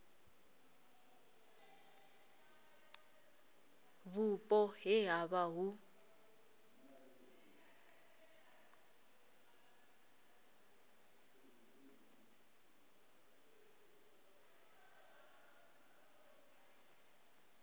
vhupo he ha vha hu